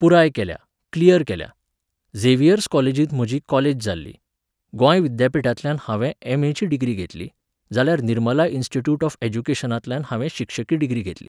पुराय केल्या, क्लियर केल्या. झेवियर्स कॉलेजींत म्हजी कॉलेज जाल्ली, गोंय विद्यापिठांतल्यान हांवे एम.ए.ची डिग्री घेतली, जाल्यार निर्मला इंस्टिट्यूट ऑफ ऍड्युकेशनांतल्यान हांवे शिक्षकी डिग्री घेतली.